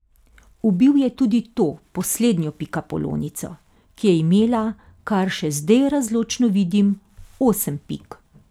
Ubil je tudi to poslednjo pikapolonico, ki je imela, kar še zdaj razločno vidim, osem pik.